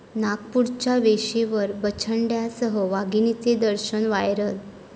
नागपूरच्या वेशीवर बछड्यांसह वाघिणीचे दर्शन, व्हायरल